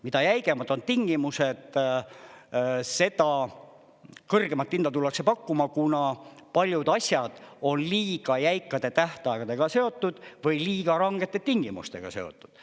Mida jäigemad on tingimused, seda kõrgemat hinda tullakse pakkuma, kuna paljud asjad on liiga jäikade tähtaegadega seotud või liiga rangete tingimustega seotud.